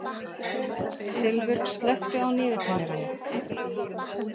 Silfur, slökktu á niðurteljaranum.